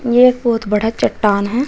ये एक बहोत बड़ा चट्टान है।